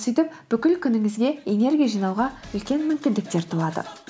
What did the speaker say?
сөйтіп бүкіл күніңізге энергия жинауға үлкен мүмкіндіктер туады